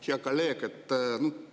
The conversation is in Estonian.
Hea kolleeg!